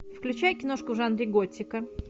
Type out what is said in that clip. включай киношку в жанре готика